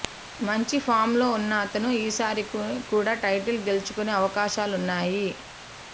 మంచి ఫామ్లో ఉన్న అతను ఈసారి కూడా టైటిల్ గెల్చుకునే అవకాశాలున్నాయి